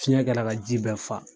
Fiɲɛ kɛra ka ji bɛɛ faa